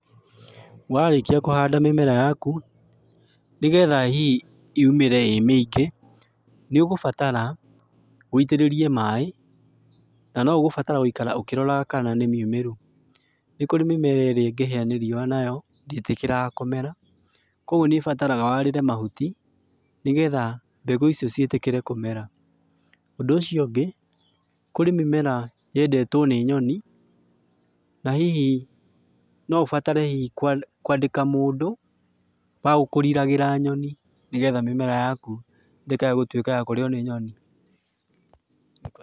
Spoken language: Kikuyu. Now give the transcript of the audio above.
Warĩkia kũhanda mĩmera yaku, nĩgetha hihi, yumĩre ĩ mĩingĩ, nĩũgũbatara, wĩitĩrĩrie maĩ, na noũgũbatara gũikara ũkĩroraga kana nĩmiumĩru. Nĩkũrĩ mĩmera ĩrĩa ĩngĩhĩa nĩ riũa nayo, ndĩtĩkĩraga kũmera, kuoguo nĩbataraga warĩre mahuti, nĩgetha, mbegũ icio ciĩtĩkĩre kũmera. Ũndũ ũcio ũngĩ, kũrĩ mĩmera yendetwo nĩ nyoni, na hihi, no ũbatare hihi kũandĩka mũndũ, wagũkũriragĩra nyoni, nĩgetha mĩmera yaku, ndĩkae gũtuĩka ya kũrĩo nĩ nyoni.